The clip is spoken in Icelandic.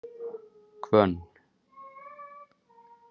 Hvönn